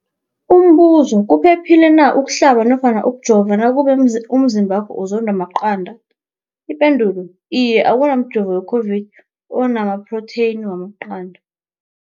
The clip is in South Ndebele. Umbuzo, kuphephile na ukuhlaba nofana ukujova nakube umzimbakho uzondwa maqanda. Ipendulo, Iye. Akuna mjovo we-COVID-19 ona maphrotheyini wamaqanda.